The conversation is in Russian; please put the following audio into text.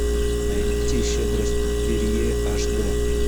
найти щедрость перрье аш д